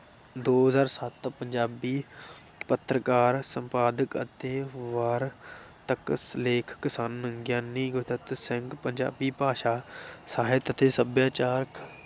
ਦੋ ਹਜ਼ਾਰ ਸੱਤ ਪੰਜਾਬੀ ਪੱਤਰਕਾਰ, ਸੰਪਾਦਕ ਅਤੇ ਵਾਰ ਤਕ ਲੇਖਕ ਸਨ, ਗਿਆਨੀ ਗੁਰਦਿੱਤ ਸਿੰਘ ਪੰਜਾਬੀ ਭਾਸ਼ਾ ਸਾਹਿਤ ਅਤੇ ਸਭਿਆਚਾਰ